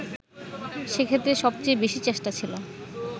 সেক্ষেত্রে সবচেয়ে বেশি চেষ্টা ছিল